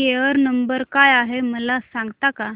care number काय आहे मला सांगता का